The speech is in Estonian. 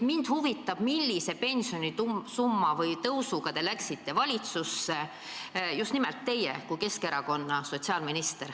Mind huvitab, millise pensionisumma või -tõusu sooviga te läksite valitsusse, just nimelt teie kui Keskerakonna sotsiaalminister.